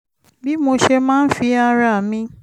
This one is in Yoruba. bí mo ṣe máa ń fi ara mi